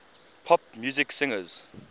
pop music singers